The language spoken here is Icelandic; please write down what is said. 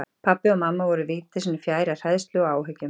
Pabbi og mamma voru viti sínu fjær af hræðslu og áhyggjum.